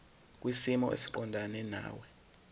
kwisimo esiqondena nawe